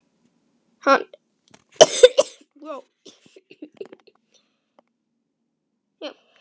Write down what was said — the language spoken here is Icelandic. Hann einsetur sér að vera léttur og skemmtilegur við Agnesi.